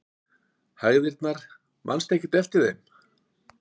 Hægðirnar, manstu ekkert eftir þeim?